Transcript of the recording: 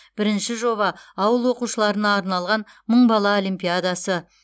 бірінші жоба ауыл оқушыларына арналған мың бала олимпиадасы